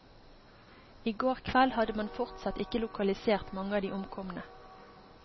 I går kveld hadde man fortsatt ikke lokalisert mange av de omkomne.